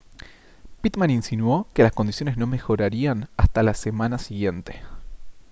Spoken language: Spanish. pitman insinuó que las condiciones no mejorarían hasta la semana siguiente